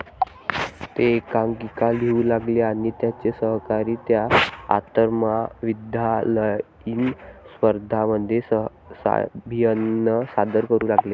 ते एकांकिका लिहू लागले, आणि त्यांचे सहकारी त्या आंतरमहाविद्यालयीन स्पर्धांमध्ये साभिनय सादर करू लागले.